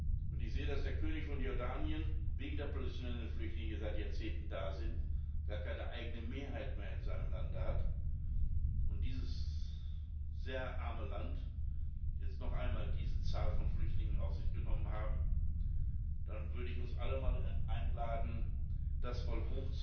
Wenn ich sehe, dass der König von Jordanien wegen der palästinensischen Flüchtlinge, die seit Jahrzehnten da sind, gar keine eigene Mehrheit mehr in seinem Land hat und dieses sehr arme Land jetzt noch einmal diese Zahl von Flüchtlingen auf sich genommen hat, dann würde ich uns alle mal einladen, das mal